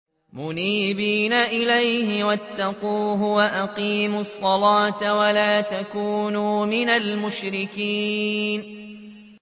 ۞ مُنِيبِينَ إِلَيْهِ وَاتَّقُوهُ وَأَقِيمُوا الصَّلَاةَ وَلَا تَكُونُوا مِنَ الْمُشْرِكِينَ